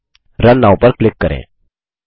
run now पर click करें